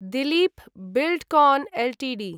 Dilip Buildcon Ltd